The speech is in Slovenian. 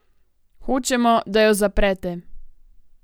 Hočemo, da jo zaprete.